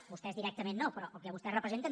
vostès directament no però el que vostès representen